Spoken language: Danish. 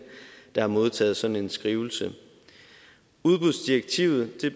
der har modtaget sådan en skrivelse udbudsdirektivet